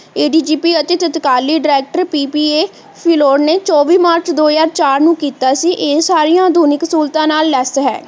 ਏ. D. G. P. ਅਤੇ ਸਤਿਕਾਲੀ director P. P. A. Phillaur ਨੇ ਚੋਵੀ ਮਾਰਚ ਦੋ ਹਜਾਰ ਚਾਰ ਨੂੰ ਕੀਤਾ ਸੀ ਇਹ ਸਾਰੀਆਂ ਆਧੁਨਿਕ ਸਹੂਲਤਾਂ ਨਾਲ less ਹੈ